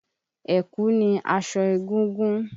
Ẹ̀kú ni aṣọ egúngún.